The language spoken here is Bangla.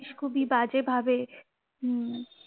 খুবই বাজে ভাবে হুম